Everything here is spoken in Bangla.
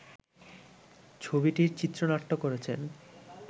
ছবিটির চিত্রনাট্য করেছেন